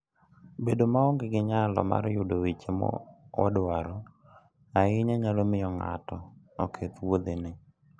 Bedo maonge gi nyalo mar yudo weche madwarore ahinya nyalo miyo ng'ato oketh wuodhene.